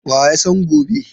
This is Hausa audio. Wa ya san gobe?